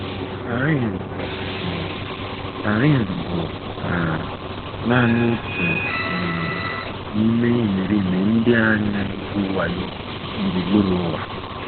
Karen bụ um Karen bụ um nanị otu um n’ime imerime ndị a na - egwu wayo gburugburu ụwa.